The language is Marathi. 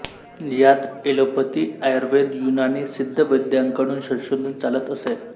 यात ऍलोपथी आयुर्वेद युनानी सिद्ध वैद्यांकडून संशोधन चालत असे